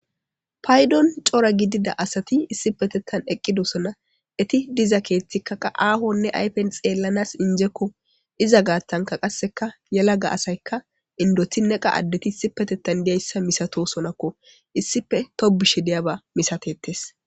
Paydon cora gidida asati issi petettan eqqidosona eti diza keethtikka qa aahonne aypen xeellanas injekko iza gaattanka qasseka yela ga asayka indotinne qa addeti issi petettan diyayssa misato sonakko issife tobushe diyaba misatettes.